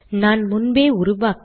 நான் முன்பே உருவாக்கிய